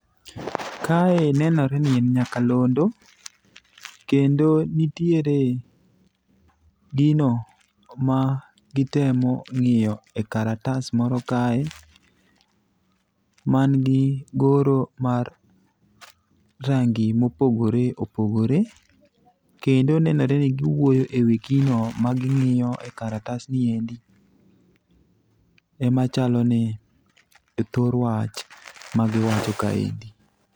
Kae nenore ni en nyakalondo kendo nitiere gino ma gitemo ng'iyo ekaratas moro kae man gi goro mar rangi mopogore opogore, kendo nenore ni giwuoyo e wi gino maging'io e karatasni endi. Emachalo ni e thor wach magiwacho kaendi.